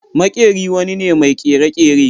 Makeri wani ne mai kere-kere.